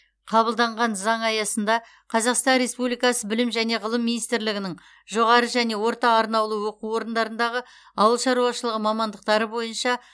қабылданған заң аясында қазақстан республикасы білім және ғылым министрлігінің жоғары және орта арнаулы оқу орындарындағы ауыл шаруашылығы мамандықтары бойынша